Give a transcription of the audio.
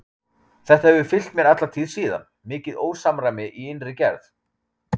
Þetta hefur fylgt mér alla tíð síðan, mikið ósamræmi í innri gerð.